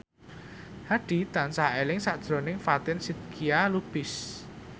Hadi tansah eling sakjroning Fatin Shidqia Lubis